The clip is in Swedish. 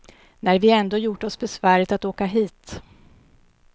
När vi ändå gjort oss besväret att åka hit.